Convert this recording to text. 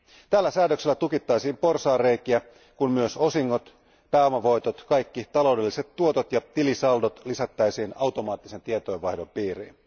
Tällä säädöksellä tukittaisiin porsaanreikiä, kun myös osingot, pääomavoitot, kaikki taloudelliset tuotot ja tilisaldot lisättäisiin automaattisen tietojenvaihdon piiriin.